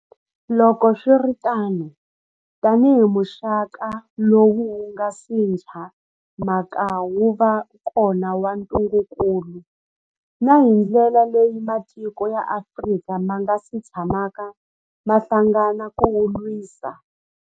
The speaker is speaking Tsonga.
Loko swi ri tano, tanihi muxaka lowu wu nga si tshamaka wu va kona wa ntungukulu, na hi ndlela leyi matiko ya Afrika ma nga si tshamaka ma hlangana ku wu lwisa.